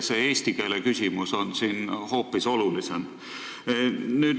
Eesti keele küsimus on nüüd hoopis olulisem.